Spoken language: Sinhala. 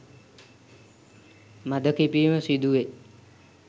මද කිපීම සිදුවේ.